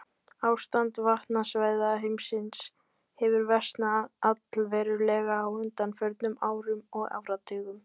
Ástand vatnasvæða heimsins hefur versnað allverulega á undanförnum árum og áratugum.